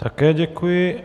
Také děkuji.